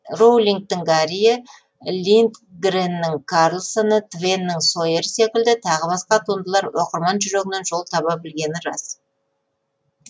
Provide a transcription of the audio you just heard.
роулингтің гарриі линдгреннің карлсоны твеннің сойері секілді тағы басқа туындылар оқырман жүрегінен жол таба білгені рас